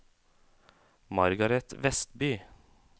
Margaret Westby